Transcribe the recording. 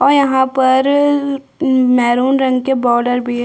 और यहाँ पर मेहरून रंग के बॉर्डर भी है।